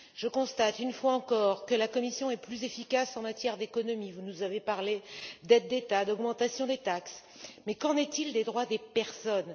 Je constate une fois encore que la Commission est plus efficace en matière d'économie vous nous avez parlé d'aides d'État, d'augmentation des taxes, mais qu'en est il des droits des personnes?